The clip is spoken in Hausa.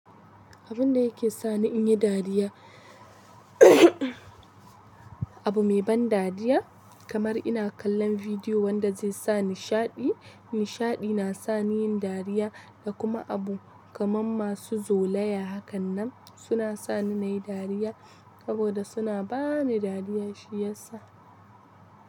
Abun da yake sa ni in yi dariya. Abu mai ban dariya kamar ina kallon video wanda zai sa nishadi. Nishaɗi na sa ni yin dariya da kuma abu kamar masu zolaya. Hakan nan suna sa ni nayi dariya saboda suna ba ni dariya shiyasa.